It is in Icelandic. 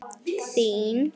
Þín vinkona Guðrún Dadda.